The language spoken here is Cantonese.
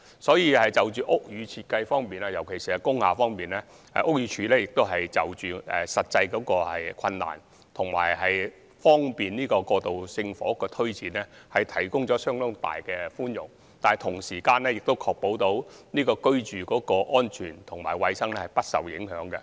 所以，就屋宇設計方面，特別是工廈方面，屋宇署會就實際困難及為求方便推展過渡性房屋項目，提供相當多的寬免，但同時亦須確保居住安全和衞生不受影響。